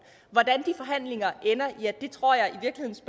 hvordan de forhandlinger ender ja det tror jeg